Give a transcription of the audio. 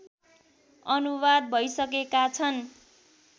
अनुवाद भइसकेका छन्